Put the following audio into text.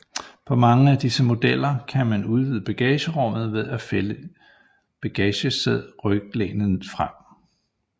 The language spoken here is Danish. På mange af disse modeller kan man udvide bagagerummet ved at fælde bagsæderyglænet frem